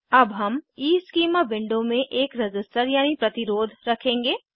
अब हम ईस्कीमा विंडो में एक रज़िस्टर यानी प्रतिरोध रखेंगे